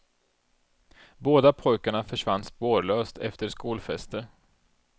Båda pojkarna försvann spårlöst efter skolfester.